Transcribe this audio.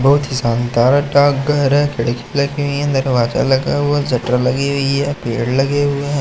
बहुत ही शानदार डाकघर हैं खिड़की लगी हुई हैं दरवाजा लगा हुवा हैं शटर लगी हुई हैं पेड़ लगे हुए हैं।